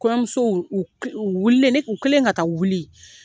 Kɔɲɔmusow wililen, u kelen ka taa wuli